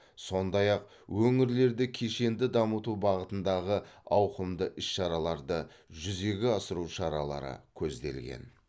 сондай ақ өңірлерді кешенді дамыту бағытындағы ауқымды іс шараларды жүзеге асыру шаралары көзделген